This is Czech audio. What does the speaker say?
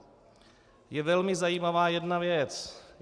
Je velmi zajímavá jedna věc.